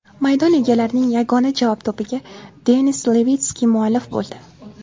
Maydon egalarining yagona javob to‘piga Denis Levitskiy muallif bo‘ldi.